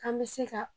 K'an bɛ se ka